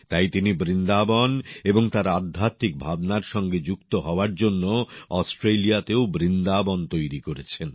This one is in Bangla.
তাই তিনি বৃন্দাবন এবং তার আধ্যাত্মিক ভাবনার সঙ্গে যুক্ত হওয়ার জন্য অস্ট্রেলিয়াতেও বৃন্দাবন তৈরি করেছেন